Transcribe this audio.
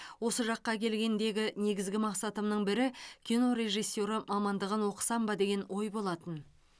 осы жаққа келгендегі негізгі мақсатымның бірі кино режиссері мамандығын оқысам ба деген ой болатын